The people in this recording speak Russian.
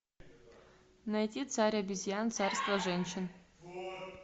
найти царь обезьян царство женщин